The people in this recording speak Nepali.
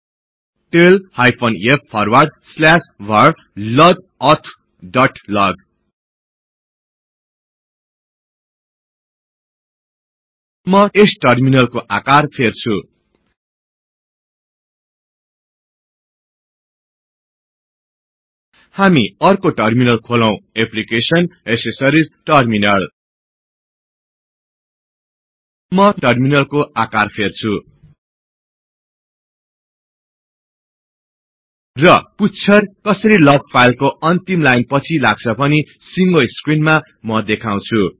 tail hyphen f forward slash var log auth dot log म यस टर्मिनलको आकार फेर्छु हामी अर्को टर्मिनल खोलौ applications GT accessories GT terminal म यस टर्मिनलको आकार फेर्छु र पुच्छर कसरी लग फाईलको अन्तिम लाइन पछि लाग्छ भनि सिंगो स्क्रिनमा म देखाउछु